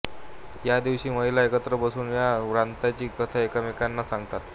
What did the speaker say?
या दिवशी महिला एकत्र बसून या व्रताची कथा एकमेकींना सांगतात